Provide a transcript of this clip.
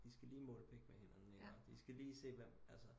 De skal lige måle pik med hinanden ikke de skal lige se hvem